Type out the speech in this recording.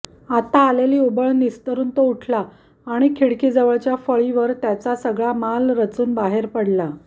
आता आलेली उबळ निस्तरून तो उठला आणि खिडकीजवळच्या फळीवर त्याचा सगळा माल रचून बाहेर पडला